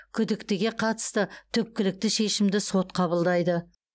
күдіктіге қатысты түпкілікті шешімді сот қабылдайды